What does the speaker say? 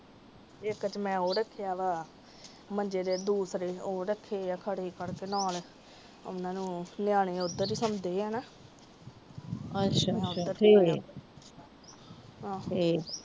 ਇੱਕ ਚ ਮੈ ਉਹ ਰੱਖਿਆ ਵ ਮੰਜੇ ਦੇ ਉਹ ਦੂਸਰੇ ਓ ਰੱਖੇ ਆ ਨਿਆਣੇ ਓਦਰ ਹੀ ਸੋਂਦੇ ਹੈ